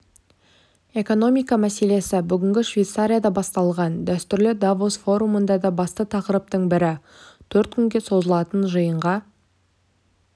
экономика мәселесі бүгін швейцарияда басталған дәстүрлі давос форумында да басты тақырыптың бірі төрт күнге созылатын жиынға